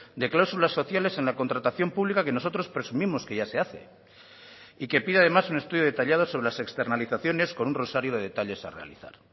de cláusulas sociales en la contratación pública que nosotros presumimos que ya se hace y que pide además un estudio detallado sobre las externalizaciones con un rosario de detalles a realizar